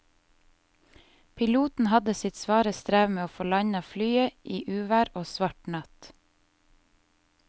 Piloten hadde sitt svare strev med å få landet flyet i uvær og svart natt.